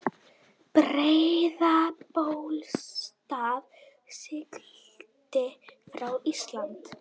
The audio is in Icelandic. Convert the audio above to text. Breiðabólsstað, sigldi frá Íslandi.